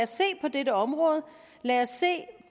se på dette område lad os se